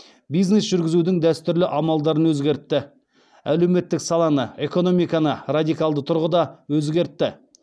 бизнес жүргізудің дәстүрлі амалдарын өзгертті әлеуметтік саланы экономиканы радикалды тұрғыда өзгертті